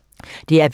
DR P3